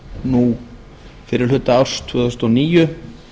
nú fyrri hluta árs tvö þúsund og níu